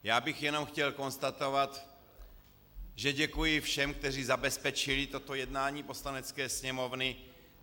Já bych jenom chtěl konstatovat, že děkuji všem, kteří zabezpečili toto jednání Poslanecké sněmovny.